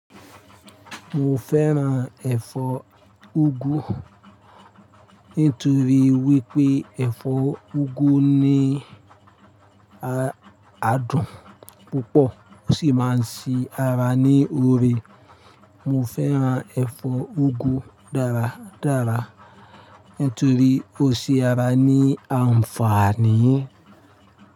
Mo fẹ́ràn ẹ̀fọ́ úgú nítorí wípé ẹ̀fọ́ úgú ní adùn púpọ̀ ó sì máa ń se ara ní oore. Mo fẹ́ràn ẹ̀fọ́ úgú dáradára nítorí ó se ara ní àǹfààní.